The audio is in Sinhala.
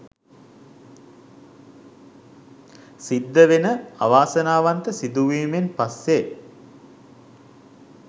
සිද්ධවෙන අවාසනාවන්ත සිදුවීමෙන් පස්සේ